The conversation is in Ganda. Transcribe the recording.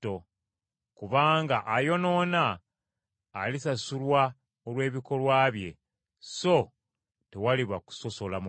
kubanga ayonoona, alisasulwa olw’ebikolwa bye, so tewaliba kusosola mu bantu.